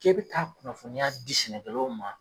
K'e bɛ taa kunnafoniya di sɛnɛkɛ law ma.